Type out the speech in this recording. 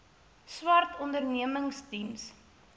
swart ondernemings diens